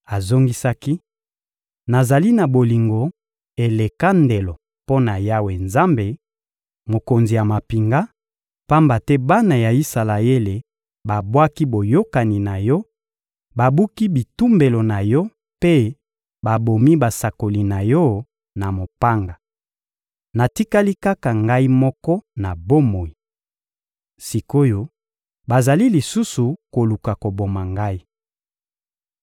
Azongisaki: — Nazali na bolingo eleka ndelo mpo na Yawe Nzambe, Mokonzi ya mampinga, pamba te bana ya Isalaele, babwaki boyokani na Yo, babuki bitumbelo na Yo mpe babomi basakoli na Yo na mopanga. Natikali kaka ngai moko na bomoi. Sik’oyo bazali lisusu koluka koboma ngai.